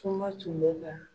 Kuma tun bɛ ka